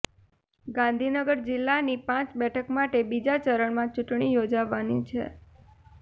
ગાંધીનગર જિલ્લાની પાંચ બેઠક માટે બીજા ચરણમાં ચુંટણી યોજાવાની છે